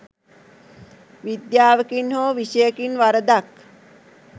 විද්‍යාවකින් හෝ විෂයකින් වරදක්